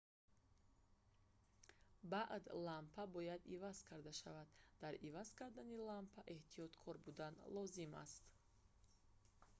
баъд лампа бояд иваз карда шавад дар иваз кардани лампа эҳтиёткор будан лозим аст